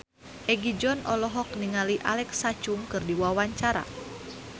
Egi John olohok ningali Alexa Chung keur diwawancara